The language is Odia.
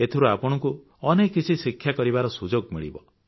ଏଥିରୁ ଆପଣଙ୍କୁ ଅନେକ କିଛି ଶିକ୍ଷା କରିବାର ସୁଯୋଗ ମିଳିବ